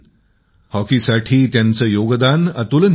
हॉकीसाठी त्यांचे योगदान अतुलनीय आहे